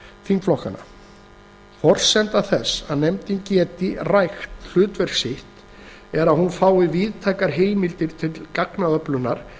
þingflokkanna forsenda þess að nefndin geti rækt hlutverk sitt er að hún fái víðtækar heimildir til gagnaöflunar